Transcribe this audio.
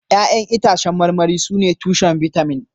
Ya'yan itãcen marmari sune tushen bitamin